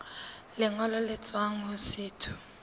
lengolo le tswang ho setho